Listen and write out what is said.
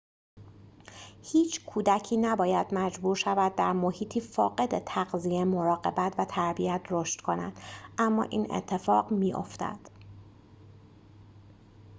هیچ کودکی نباید مجبور شود در محیطی فاقد تغذیه مراقبت و تربیت رشد کند اما این اتفاق می‌افتد